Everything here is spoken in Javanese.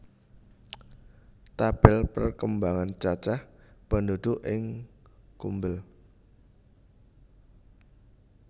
Tabel perkembangan cacah pendhudhuk ing Cumbel